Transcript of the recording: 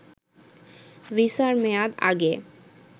ভিসার মেয়াদ আগে